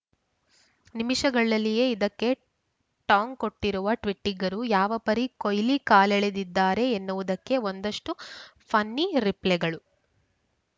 ನಿಮಿಷಗಳಲ್ಲಿಯೇ ಇದಕ್ಕೆ ಟಾಂಗ್‌ ಕೊಟ್ಟಿರುವ ಟ್ವಿಟ್ಟಿಗರು ಯಾವ ಪರಿ ಕೊಯ್ಲಿ ಕಾಲೆಳೆದಿದ್ದಾರೆ ಎನ್ನುವುದಕ್ಕೆ ಒಂದಷ್ಟುಫನ್ನಿ ರಿಪ್ಲೆಗಳು